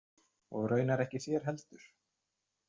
Og raunar ekki þeir heldur.